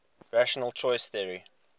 rational choice theory